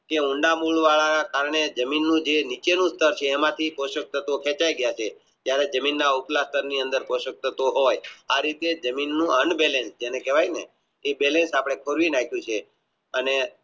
કે ઊંડા મૂળ વાળા ને કારણે જમીનનું જે નીચેનું ઉત્પાદન છે એમાંથી પોશાક તત્વો કકેચય જાય છે જેને કહેવાય ને કે Balance આપણે ખોળવી નાખ્યું છે અને